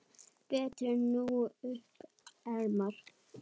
Brettum nú upp ermar.